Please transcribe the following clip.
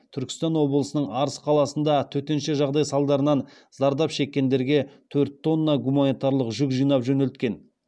түркістан облысының арыс қаласында төтенше жағдай салдарынан зардап шеккендерге төрт тонна гуманитарлық жүк жинап жөнелткен